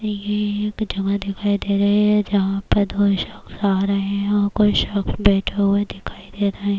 یہ ہے ایک جگہ دکھائی دے رہی ہے جہاں پر دو شخص ا رہے ہیں کوئی شخص بیٹھا ہوا دکھائی دے رہا ہے-